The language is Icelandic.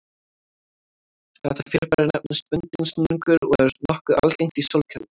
Þetta fyrirbæri nefnist bundinn snúningur og er nokkuð algengt í sólkerfinu.